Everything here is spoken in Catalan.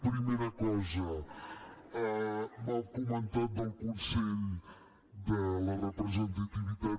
primera cosa m’ha comentat del consell de la representativitat